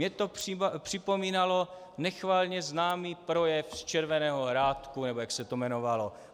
Mně to připomínalo nechvalně známý projev z Červeného Hrádku, nebo jak se to jmenovalo.